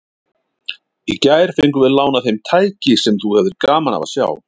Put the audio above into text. Í gær fengum við lánað heim tæki sem þú hefðir gaman af að sjá.